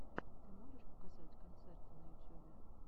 ты можешь показать концерты на ютюбе